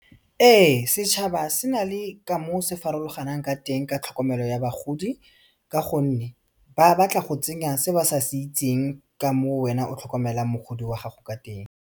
Ee setšhaba se na le ka moo se farologanang ka teng ka tlhokomelo ya bagodi ka gonne ba batla go tsenya se ba sa se itseng ka moo wena o tlhokomelang mogodi wa gago ka teng.